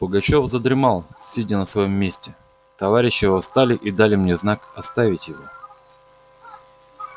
пугачёв задремал сидя на своём месте товарищи его встали и дали мне знак оставить его